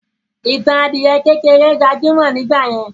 Ìtàn adìyẹ kékeré gbajúmọ̀ nígbàyẹn.